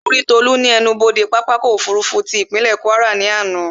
Mo rí Tolú ní ẹnubodè pápákọ̀ ọ̀kọ òfurufú tí ìpínlè Kwara ní àná